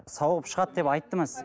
сауығып шығады деп айтты ма сізге